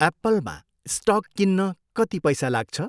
एप्पलमा stock किन्न कति पैसा लाग्छ?